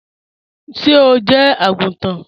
Ṣé ó jẹ́ agúntàn?